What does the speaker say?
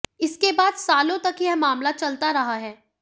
इसके बाद सालों तक यह मामला चलता रहा है